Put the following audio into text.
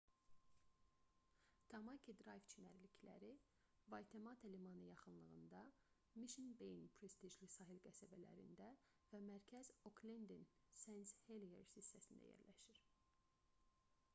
tamaki drayv çimərlikləri vaytemata limanı yaxınlığında mişn beyin prestijli sahil qəsəbələrində və mərkəz oklendin sent-heliers hissəsində yerləşir